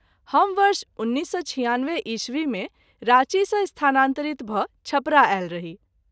हम वर्ष १९९६ ई० मे राँची सँ स्थानान्तरित भ’ छपरा आयल रही।